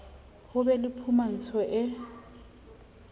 ho be le phumantso e